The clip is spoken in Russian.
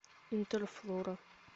интерфлора